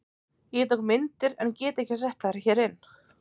Ég tók myndir en get ekki sett þær hér.